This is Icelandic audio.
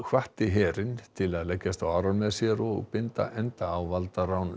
hvatti herinn til að leggjast á árar með sér og binda enda á valdarán